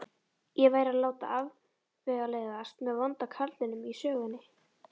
Ég væri að láta afvegaleiðast með vonda karlinum í sögunni.